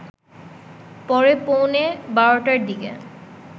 পরে পৌনে ১২টার দিকে